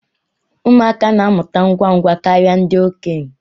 Ụmụaka na-amụta ngwa ngwa karịa ndị okenye